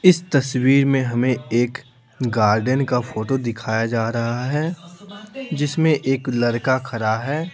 इस तस्वीर में हमें एक गार्डन का फोटो दिखाया जा रहा है जिसमें एक लड़का खड़ा है।